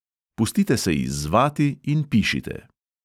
Pustite se izzvati in pišite.